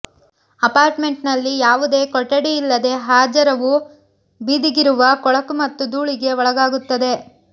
ಅಪಾರ್ಟ್ಮೆಂಟ್ನಲ್ಲಿ ಯಾವುದೇ ಕೊಠಡಿಯಿಲ್ಲದೆ ಹಜಾರವು ಬೀದಿಗಿರುವ ಕೊಳಕು ಮತ್ತು ಧೂಳಿಗೆ ಒಳಗಾಗುತ್ತದೆ